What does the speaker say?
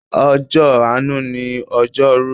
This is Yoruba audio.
Ọjọ́ àánú ni ojoru.